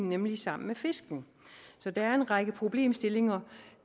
nemlig sammen med fiskene så der er en række problemstillinger